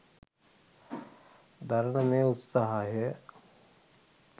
දරන මේ උත්සාහය